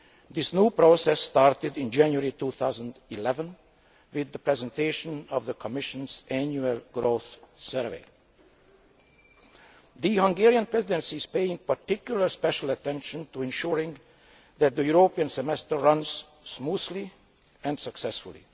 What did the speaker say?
This new process started in January 2011 with the presentation of the Commission's annual growth survey. The Hungarian Presidency is paying particular attention to ensuring that the European semester runs smoothly and successfully.